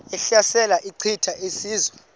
ehlasela echitha izizwe